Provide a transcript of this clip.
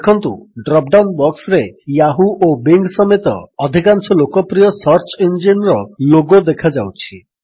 ଦେଖନ୍ତୁ drop down ବକ୍ସରେ Yahoo ଓ ବିଙ୍ଗ୍ ସମେତ ଅଧିକାଂଶ ଲୋକପ୍ରିୟ ସର୍ଚ୍ଚ ଇଞ୍ଜିନ୍ର ଲୋଗୋ ଦେଖାଯାଉଛି